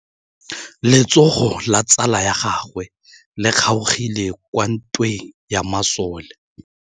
Letsôgô la tsala ya gagwe le kgaogile kwa ntweng ya masole.